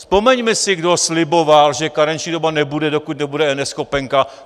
Vzpomeňme si, kdo sliboval, že karenční doba nebude, dokud nebude eNeschopenka.